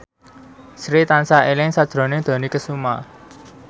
Sri tansah eling sakjroning Dony Kesuma